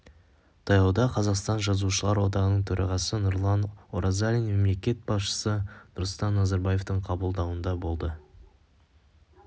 таяуда қазақстан жазушылар одағының төрағасы нұрлан оразалин мемлекет басшысы нұрсұлтан назарбаевтың қабылдауында болды